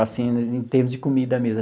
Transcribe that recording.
Assim, em termos de comida mesmo.